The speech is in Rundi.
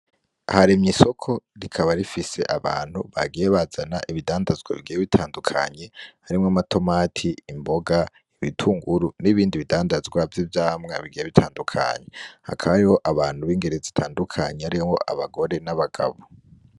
Haremye isoko, rikaba rifise abantu bagiye bazana ibidandazwa bigiye bitandukanye, harimwo amatomati, imboga, ibitunguru n'ibindi bidandazwa vy'ivyamwa bigiye bitandukanye. Hakaba hariho abantu b'ingero zitandukanye harimwo abagore n'abagabo.